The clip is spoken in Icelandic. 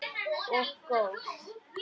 Og góð.